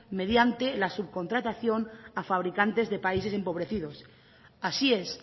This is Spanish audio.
mediante la subcontratación a fabricantes de países empobrecidos así es